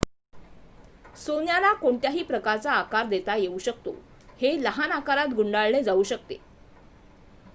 सोन्याला कोणत्याही प्रकारचा आकार देता येऊ शकतो हे लहान आकारात गुंडाळले जाऊ शकते